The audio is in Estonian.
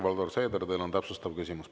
Helir-Valdor Seeder, teil on täpsustav küsimus.